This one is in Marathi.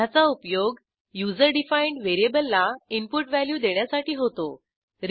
ह्याचा उपयोग युजर डिफाईंड व्हेरिएबलला इनपुट व्हॅल्यू देण्यासाठी होतो